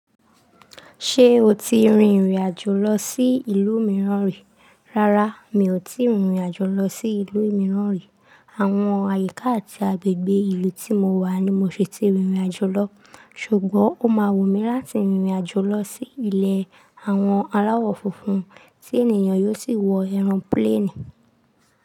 Ṣé o ti rin ìrìnàjò lọ sí ìlú mìíràn rí? Rárá, mi ò tíì rin ìrìnàjò lọ sí ìlú mìíràn rí. Àwọn àyíká àti agbègbè ìlú tí mo wà ni mo ṣe ti rin ìrìnàjò lọ. Ṣùgbọ́n, ó máa wù mí láti rin ìrìnàjò lọ sí ilẹ̀ àwọn aláwọ̀ funfun tí ènìyàn yóò sì wọ aero plani.